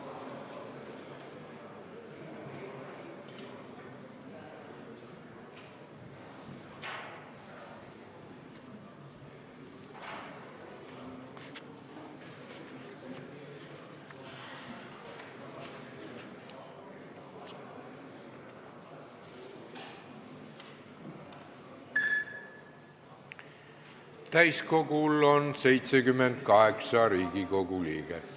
Kohaloleku kontroll Täiskogul on 78 Riigikogu liiget.